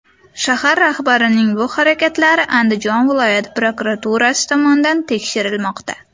Shahar rahbarining bu harakatlari Andijon viloyat prokuraturasi tomonidan tekshirilmoqda.